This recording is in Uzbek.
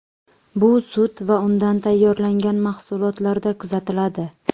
Bu sut va undan tayyorlangan mahsulotlarda kuzatiladi.